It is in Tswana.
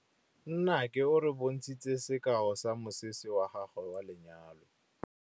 Nnake o re bontshitse sekaô sa mosese wa gagwe wa lenyalo.